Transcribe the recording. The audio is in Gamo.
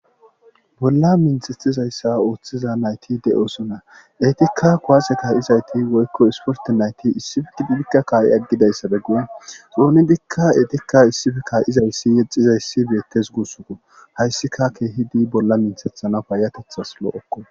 bolla minthethizayssa ooththiza nayti de7osona eetikka kowase kaay7izayti woykko isporti nayti issifiki digikka kaa7i aggidayssabe gue xounidikka eetikka issife ka7izayssi yexizayssi beettes guussuko hayssika keehidi bolla minthethana paayatethas loo7okko